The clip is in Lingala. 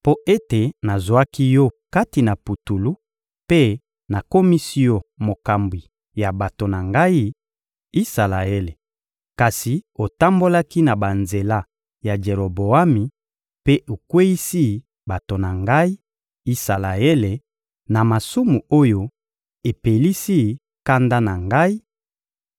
«Mpo ete nazwaki yo kati na putulu mpe nakomisi yo mokambi ya bato na Ngai, Isalaele, kasi otambolaki na banzela ya Jeroboami mpe okweyisi bato na Ngai, Isalaele, na masumu oyo epelisi kanda na Ngai,